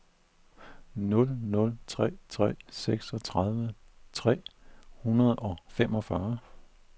nul nul tre tre seksogtredive tre hundrede og femogfyrre